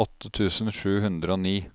åtte tusen sju hundre og ni